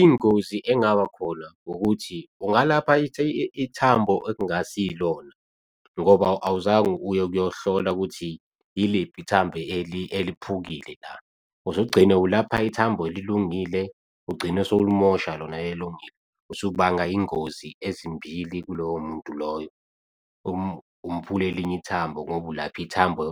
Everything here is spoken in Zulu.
Ingozi engaba khona ukuthi, ungalapha ithambo ekungasilona ngoba awuzange uye ukuyohlola ukuthi yiliphi ithambo eliphukile la, uzogcina ulapha ithambo elilungile. Ugcine sewulimosha lona elungile usubanga iy'ngozi ezimbili kuloyo muntu loyo, umphule elinye ithambo ngoba ulapha ithambo